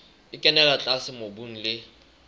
e kenella tlase mobung le